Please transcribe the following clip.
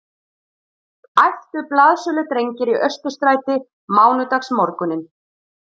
æptu blaðsöludrengir í Austurstræti mánudagsmorguninn